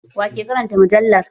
Wa ke karanta mujallar?